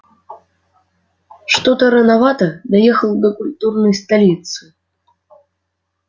что-то рановато доехал до культурной столицы